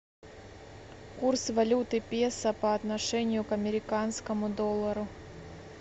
курс валюты песо по отношению к американскому доллару